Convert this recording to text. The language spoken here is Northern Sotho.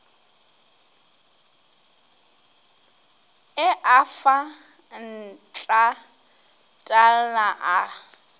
a e fa ntlatalna a